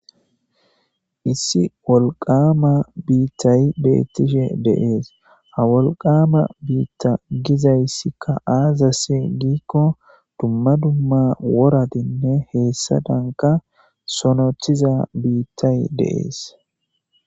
Issi wolqqamma biththay bethishe dee'ss. Ha wolqqamma bithan dizayssi azze gikko dumma dumma worathinne heyssadankka sonothiza bithay Dee's.